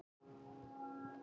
Karma, hvaða dagur er í dag?